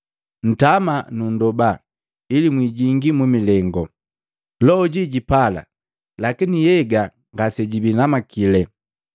Ntama na nndoba ili mwijingi mu milengu. Loho jipala lakini nhyega ngase jibii namakili.”